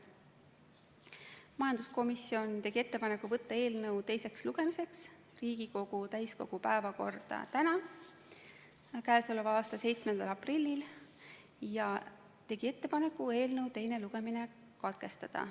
Majanduskomisjon tegi ettepaneku võtta eelnõu teiseks lugemiseks Riigikogu täiskogu päevakorda tänaseks, 7. aprilliks ja eelnõu teine lugemine katkestada.